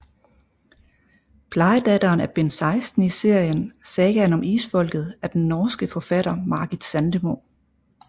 Plejedatteren er bind 16 i serien Sagaen om Isfolket af den norske forfatter Margit Sandemo